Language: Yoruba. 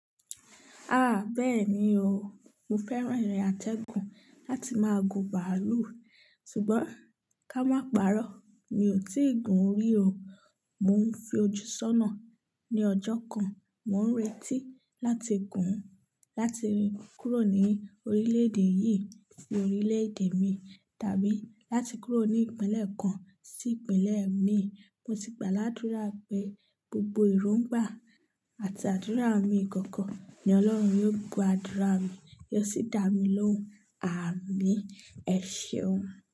Ah! Bẹ́ẹ̀ni o, mo fẹ́ran ìrìn àtẹ́gùn láti máa gun bàálù. Sugbọn ká má parọ́, mi ò tí ì gun rí o. Mo ń fi ojú sọ́nà ní ọjọ́ kan. Mo ń retí láti gùn ún, láti kúrò ní orílẹ̀ èdè yìí sí orílẹ̀ èdè mi, tàbí láti kúrò ní ìpínlẹ̀ kan sí ìpínlẹ̀ mi. Mo sì gbà ládúra pé gbogbo ìróngbà àti àdúrà mi ìkọ̀kọ̀ ni Ọlọ́run yóò gbọ́ àdúrà mi, yóò sì dá mi lóhùn. Àmín. Ẹ ṣeun.